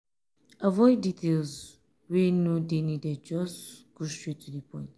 avoid details wey no dey needed just go straight to di point